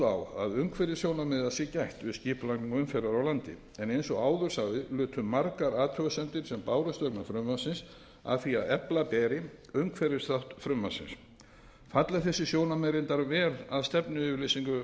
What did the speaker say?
að umhverfissjónarmiða sé gætt við skipulagningu umferðar á landi en eins og áður sagði lutu margar athugasemdir sem bárust vegna frumvarpsins að því að efla bæri umhverfisþátt frumvarpsins falla þessi sjónarmið reyndar vel að stefnuyfirlýsingu